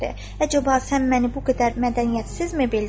"Əcəba, sən məni bu qədər mədəniyyətsizmi bildin?"